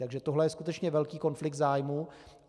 Takže tohle je skutečně velký konflikt zájmů.